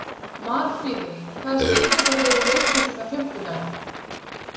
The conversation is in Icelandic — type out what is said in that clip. Marfríður, hvaða sýningar eru í leikhúsinu á fimmtudaginn?